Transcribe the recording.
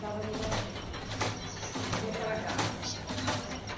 dava negativo e dizia que era gases.